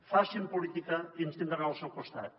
facin política i ens tindran al seu costat